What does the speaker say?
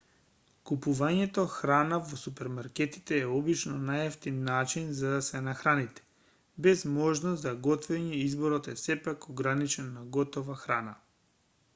купувањето храна во супермаркетите е обично најевтин начин за да се нахраните без можности за готвење изборот е сепак ограничен на готова храна